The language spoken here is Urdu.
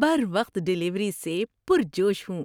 بروقت ڈیلیوری سے پرجوش ہوں۔